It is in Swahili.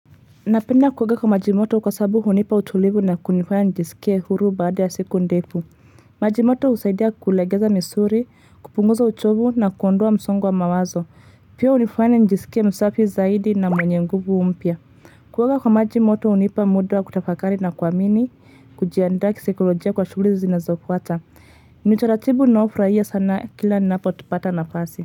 Napenda kuoga kwa maji moto kwa sabu hunipa utulivu na kunifanya nijisikie huru baada ya siku ndefu. Maji moto husaidia kulegeza misuli, kupunguza uchovu na kuondoa msongo wa mawazo. Pia hunifanya njisikie msafi zaidi na mwenye nguvu mpya. Kuoga kwa majimoto hunipa muda wa kutafakari na kuamini, kujiandaa kisakolojia kwa shughuli zinazofuata. Ni utaratibu ninaofurahia sana kila napo pata nafasi.